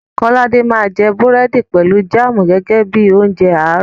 Kọ́ládé máa jẹ búrẹ̀dì pẹ̀lú jáàmù gẹ́gẹ́ bí i oúnjẹ àárọ̀.